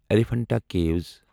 Elephanta کیٖوَس